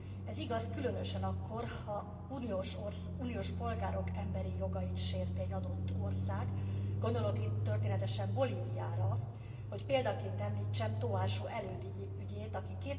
Ez igaz különösen akkor, ha uniós polgárok emberi jogait sérti egy adott ország, gondolok itt történetesen Bolíviára, hogy példaként említsem Tóásó Előd ügyét, aki